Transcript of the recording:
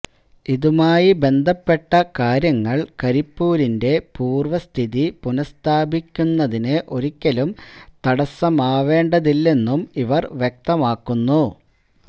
ഇതുമായി ബന്ധപ്പെട്ട കാര്യങ്ങള് കരിപ്പൂരിന്റെ പൂര്വ സ്ഥിതി പുനഃസ്ഥാപിക്കുതിന് ഒരിക്കലും തടസ്സമാവേണ്ടതില്ലെന്നും ഇവര് വ്യക്തമാക്കുന്നു